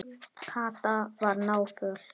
Kata var náföl.